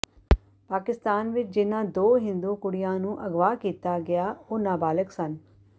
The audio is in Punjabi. ਪਾਕਿਸਤਾਨ ਵਿੱਚ ਜਿਨ੍ਹਾਂ ਦੋ ਹਿੰਦੂ ਕੁੜੀਆਂ ਨੂੰ ਅਗਵਾ ਕੀਤਾ ਗਿਆ ਉਹ ਨਾਬਾਲਿਗ ਸਨ